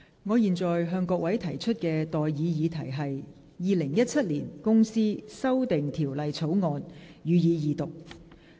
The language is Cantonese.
我現在向各位提出的待議議題是：《2017年公司條例草案》，予以二讀。